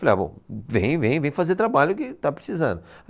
Falei, ah, bom, vem, vem, vem fazer trabalho que está precisando.